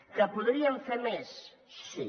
que podríem fer més sí